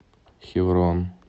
хеврон